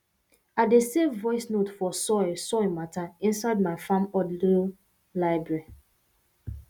i dey save voice note for soil soil matter inside my farm audio library